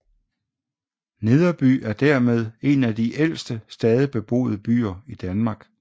Nederby er dermed en af de ældste stadig beboede byer i Danmark